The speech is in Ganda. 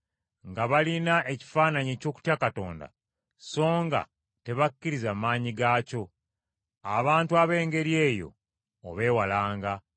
nga balina ekifaananyi eky’okutya Katonda so nga tebakkiriza maanyi gaakyo. Abantu ab’engeri eyo obeewalanga.